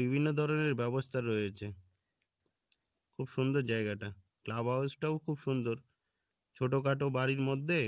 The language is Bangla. বিভিন্ন ধরনের ব্যবস্থা রয়েছে খুব সুন্দর জায়গাটা club house টাও খুব সুন্দর ছোটখাটো বাড়ির মধ্যে